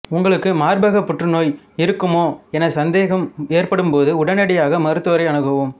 உங்களுக்கு மார்பகப் புற்றுநோய் இருக்குமோ என சந்தேகம் ஏற்படும்போது உடனடியாக மருத்துவரை அணுகவும்